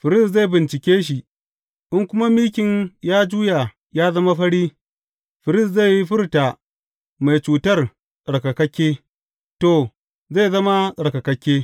Firist zai bincike shi, in kuma mikin ya juya ya zama fari, firist zai furta mai cutar tsarkakakke; to, zai zama tsarkakakke.